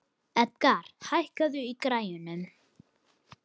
Edgar, hækkaðu í græjunum.